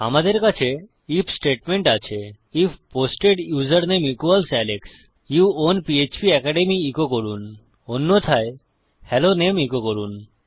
আমাদের কাছে IF statement আছে আইএফ পোস্টেড উসের নামে ইকুয়ালস আলেক্স যৌ আউন পিএচপি অ্যাকাডেমি ইকো করুন অন্যথায় হেলো নামে ইকো করুন